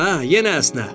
Hə, yenə əsnə.